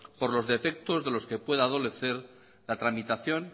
por los defectos de los que pueda adolecer la tramitación